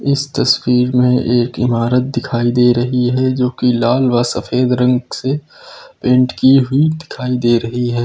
इस तस्वीर में एक इमारत दिखाई दे रही है जो कि लाल व सफेद रंग से पेंट की हुई दिखाई दे रही है।